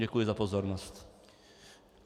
Děkuji za pozornost.